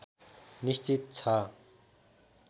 निश्चित छ